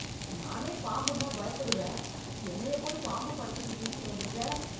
நானே பாம்புன்னா பயப்படுவேன், என்னய போய் பாம்பு படத்துக்கு கூட்டிட்டு வந்துருக்க.